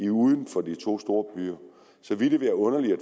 uden for de to store byer så ville det være underligt at